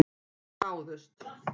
Stungu af en náðust